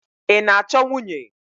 Ị na-achọ nwunye?